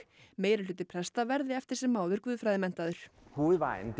meirihluti presta verði eftir sem áður guðfræðimenntaður